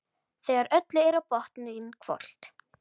Þegar öllu er á botninn hvolft.